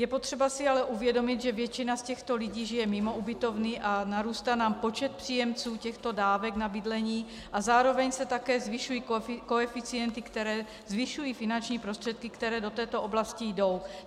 Je potřeba si ale uvědomit, že většina z těchto lidí žije mimo ubytovny a narůstá nám počet příjemců těchto dávek na bydlení a zároveň se také zvyšují koeficienty, které zvyšují finanční prostředky, které do této oblasti jdou.